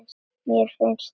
Mér finnst það.